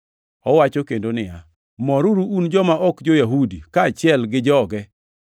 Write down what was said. Owacho kendo niya, “Moruru un joma ok jo-Yahudi kaachiel gi joge,” + 15:10 \+xt Rap 32:43\+xt*